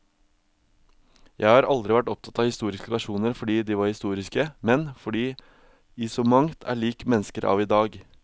Jeg har aldri vært opptatt av historiske personer fordi de var historiske, men fordi de i så mangt er lik mennesker av i dag.